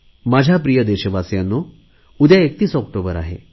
माझ्या प्रिय देशवासियांनो उद्या 31 ऑक्टोबर आहे